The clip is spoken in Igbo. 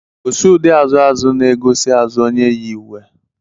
Gosi ụdị azụ azụ na-egosi azụ onye yi uwe.